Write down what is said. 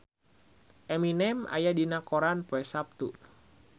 Eminem aya dina koran poe Saptu